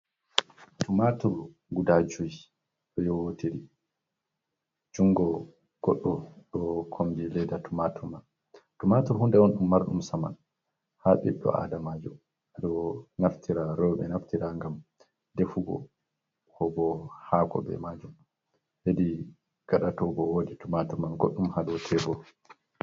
Tumatur guda jui ɗo yewotiri jungo goɗɗo ɗo kombi leda tumatur man, tumatur hunde on & um marɗum saman ha ɓiɗɗo adamajo ɓeɗo naftira rewɓe ɗo naftira ngam defugo kobo hako be majum hedi gaɗa tobo wodi tumatu man goɗɗum ha dou tebur.